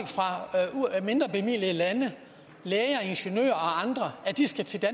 at mindrebemidlede lande læger ingeniører og andre skal til